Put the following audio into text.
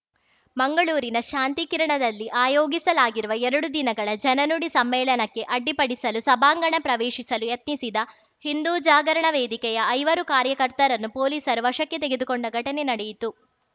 ಮಂಗಳೂರಿನ ಶಾಂತಿಕಿರಣದಲ್ಲಿ ಆಯೋಗಿಸಲಾಗಿರುವ ಎರಡು ದಿನಗಳ ಜನನುಡಿ ಸಮ್ಮೇಳನಕ್ಕೆ ಅಡ್ಡಿಪಡಿಸಲು ಸಭಾಂಗಣ ಪ್ರವೇಶಿಸಲು ಯತ್ನಿಸಿದ ಹಿಂದೂ ಜಾಗರಣ ವೇದಿಕೆಯ ಐವರು ಕಾರ್ಯಕರ್ತರನ್ನು ಪೊಲೀಸರು ವಶಕ್ಕೆ ತೆಗೆದುಕೊಂಡ ಘಟನೆ ನಡೆಯಿತು